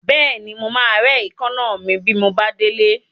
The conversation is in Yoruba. Bẹ́ẹ̀ni, mo máa rẹ́ èékánná mi bí mo bá délé.